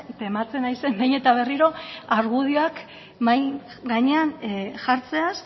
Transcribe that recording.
tematzen naizen behin eta berriro argudioak mahai gainean jartzeaz